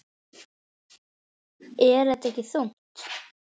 Er þetta ekki þungt?